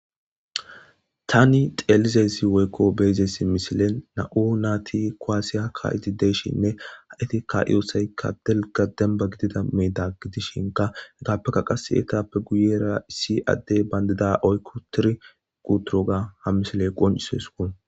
tani xeelizezi woykko beezessi misile na7u naati koaasiya kaa7iti deeshinne ha7itikka iyosaykka delga demba gidida meeda gidishinka hegappeka qas eetappe guyera issi addey bayndida oykko tiri quturoga ha misiley qoncisesuu